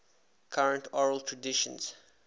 current oral traditions